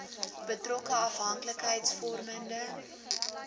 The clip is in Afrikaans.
betrokke afhank likheidsvormende